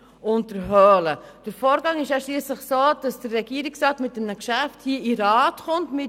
Der Ablauf ist schliesslich so, dass der Regierungsrat mit einem Geschäft in den Grossen Rat gelangt.